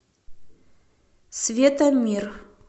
светомир